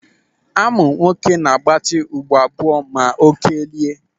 Amụ nwoke na-agbati ukpo abụọ ma ọ kelie.